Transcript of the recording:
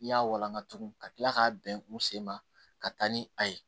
I y'a walangatugu ka tila k'a bɛn u sen ma ka taa ni a ye